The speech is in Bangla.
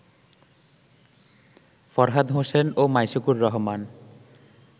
ফরহাদ হোসেন ও মাইশুকুর রহমান